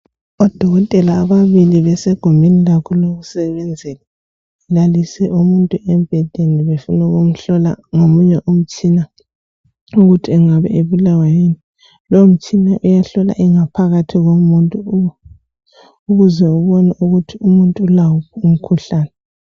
Odokotela ababili basegumbini labo lokusebenzela balalise umuntu embhedeni befuna ukumhlola ngomunye umtshina ukuthi engabe ebulawa yini lowo mtshina uyahlola ingaphakathi yomuntu ukuze ubone ukuthi umuntu ulawo umkhuhlane.